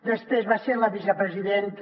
després va ser la vicepresidenta